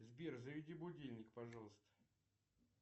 сбер заведи будильник пожалуйста